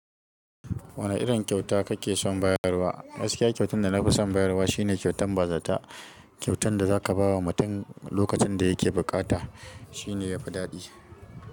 Wane irin kyauta kake son bayarwa? Masu kyau kyautan da na fi son bayarwa shine kyautan bazata. Kyautan da za ka ba wa mutum lokacin da ya ke bukata shine yafi daɗi.